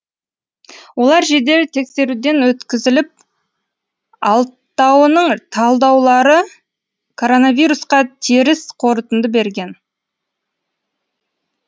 олар жедел тексеруден өткізіліп алтауының талдаулары коронавирусқа теріс қорытынды берген